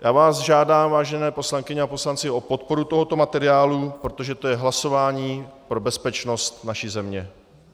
Já vás žádám, vážené poslankyně a poslanci, o podporu tohoto materiálu, protože to je hlasování pro bezpečnost naší země.